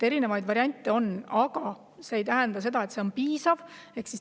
Erinevaid variante on, aga see ei tähenda, et sellest piisab.